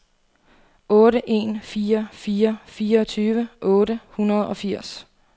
otte en fire fire fireogtyve otte hundrede og firs